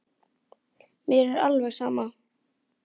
Mér er alveg sama